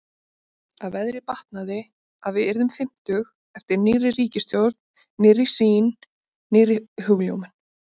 Að veðrið batnaði, að við yrðum fimmtug- eftir nýrri ríkisstjórn, nýrri sýn, nýrri hugljómun.